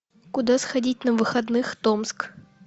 куда сходить на выходных томск